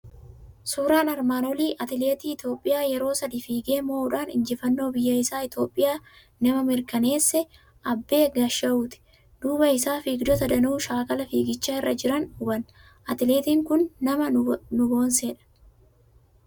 Suuraan armaan olii atileetii Itoophiyaa yeroo sadii fiigee moo'uudhaan injifannoo biyya isaa Itoophiyaa nama mirkaneesse Abbee Gaashawuuti. Duuba isaa fiigdota danuu shaakala fiiggichaa irra jiran hubanna. Atileetiin kun nama nu boonsedha.